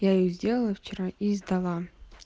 я их сделала вчера и сдала